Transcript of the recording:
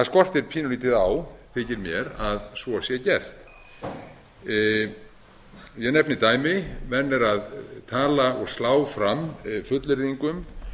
skortir pínulítið á þykir mér að svo sé gert ég nefni dæmi menn eru að tala og slá fram fullyrðingum